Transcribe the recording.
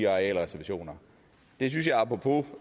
arealreservationer det synes jeg apropos